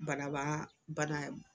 Banabaa bana